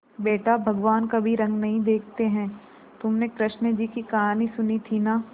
बेटा भगवान कभी रंग नहीं देखते हैं तुमने कृष्ण जी की कहानी सुनी थी ना